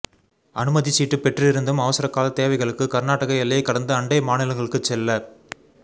அனுமதிச்சீட்டு பெற்றிருந்தும் அவசரக்கால தேவைகளுக்கு கா்நாடக எல்லையைக் கடந்து அண்டை மாநிலங்களுக்குச் செல்ல